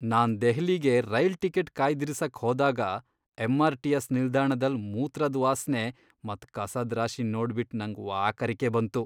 ನಾನ್ ದೆಹ್ಲಿಗೆ rail ticket ಕಾಯ್ದಿರಿಸಕ್ ಹೋದಾಗ ಎಂಆರ್ ಟಿಎಸ್ ನಿಲ್ದಾಣದಲ್ ಮೂತ್ರದ್ ವಾಸ್ನೆ ಮತ್ ಕಸದ್ ರಾಶಿನ್ ನೋಡ್ಬಿಟ್ ನಂಗ್ ವಾಕರಿಕೆ ಬಂತು.